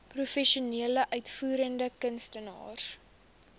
professionele uitvoerende kunstenaars